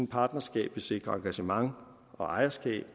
partnerskab vil sikre engagement og ejerskab